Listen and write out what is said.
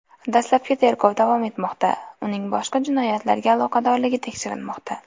Dastlabki tergov davom etmoqda, uning boshqa jinoyatlarga aloqadorligi tekshirilmoqda.